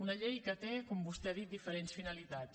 una llei que té com vostè ha dit diferents finalitats